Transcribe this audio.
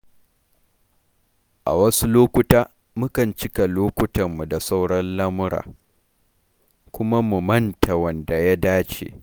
A wasu lokuta, mukan cika lokutanmu da sauran lamura, kuma mu manta wanda ya dace.